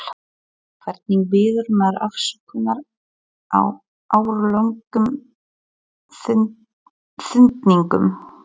Hvernig biður maður afsökunar á áralöngum pyntingum?